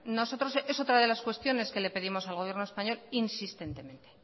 bueno nosotros es otra de las cuestiones que le pedimos al gobierno español insistentemente